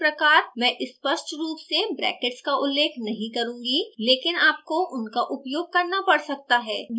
इसी प्रकार मैं स्पष्ट रूप से ब्रैकेट्स का उल्लेख नहीं करुँगी लेकिन आपको उनका उपयोग करना पड़ सकता है